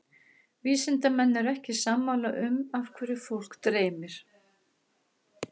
Vísindamenn eru ekki sammála um af hverju fólk dreymir.